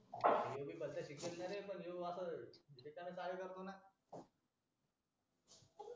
ही पद्धत हे असणारे हा असं रिकामी चाळे करतो ना